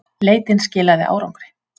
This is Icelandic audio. Leitin skilaði árangri.